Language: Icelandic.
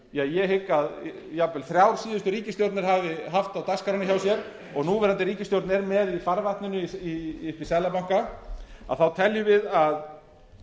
ég hygg að jafnvel þrjár síðustu ríkisstjórnir hafi haft á dagskránni hjá sér og núverandi ríkisstjórn er með í farvatninu uppi í seðlabanka að þá teljum við að